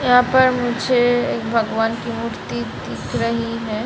यहाँ पर मुझे एक भगवान की मूर्ति दिख रही है।